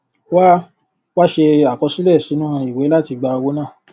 wá wá ṣe àkọsílẹ sinu iwe láti gba owó náà